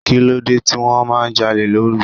Kí ló dé tí wọ́n máa ń jalè lóru?